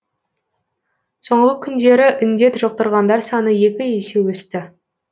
соңғы күндері індет жұқтырғандар саны екі есе өсті